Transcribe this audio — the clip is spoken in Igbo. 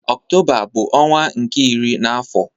Ọktoba bu ọnwa nke iri n'afo.